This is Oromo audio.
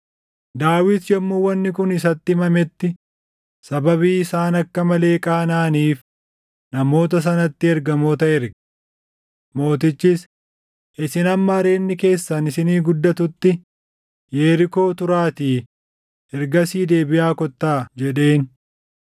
Daawit yommuu wanni kun isatti himametti sababii isaan akka malee qaanaʼaniif namoota sanatti ergamoota erge. Mootichis, “Isin hamma areedni keessan isinii guddatutti Yerikoo turaatii ergasii deebiʼaa kottaa” jedheen.